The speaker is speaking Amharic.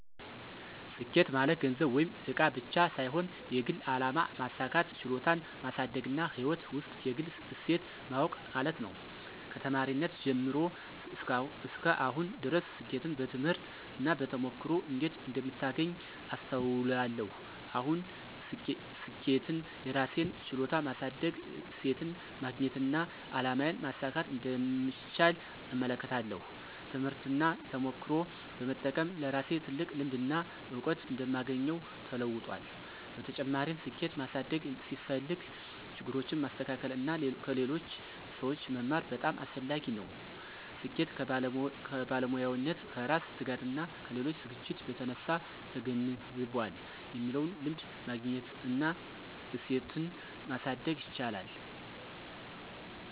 ስኬት ማለት ገንዘብ ወይም እቃ ብቻ ሳይሆን የግል አላማ ማሳካት፣ ችሎታን ማሳደግና ሕይወት ውስጥ የግል እሴት ማወቅ ማለት ነው። ከተማሪነቴ ጀምሮ እስከ አሁን ድረስ ስኬትን በትምህርት እና በተሞክሮ እንዴት እንደምታገኝ አስተውላለሁ። አሁን ስኬትን የራሴን ችሎታ ማሳደግ፣ እሴትን ማግኘትና አላማዬን ማሳካት እንደምቻል እመለከታለሁ። ትምህርትና ተሞክሮ በመጠቀም ለራሴ ትልቅ ልምድና እውቀት እንደማግኘው ተለውጧል። በተጨማሪም፣ ስኬት ማሳደግ ሲፈልግ ችግሮችን ማስተካከል እና ከሌሎች ሰዎች መማር በጣም አስፈላጊ ነው። ስኬት ከባለሙያነት፣ ከራስ ትጋትና ከሌሎች ዝግጅት በተነሳ ተገንዝቧል የሚለውን ልምድ ማግኘት እና እሴትን ማሳደግ ይቻላል።